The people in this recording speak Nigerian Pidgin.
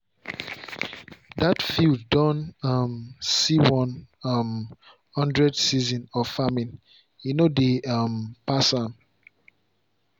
that field don um see one um hundred season of farming e no dey um pass am.